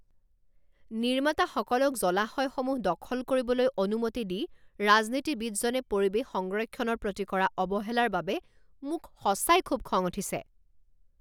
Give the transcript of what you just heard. নিৰ্মাতাসকলক জলাশয়সমূহ দখল কৰিবলৈ অনুমতি দি ৰাজনীতিবিদজনে পৰিৱেশ সংৰক্ষণৰ প্ৰতি কৰা অৱহেলাৰ বাবে মোক সঁচাই খুউব খং উঠিছে।